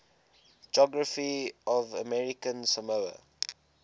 geography of american samoa